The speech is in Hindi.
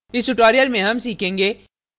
इस tutorial में हम सीखेंगे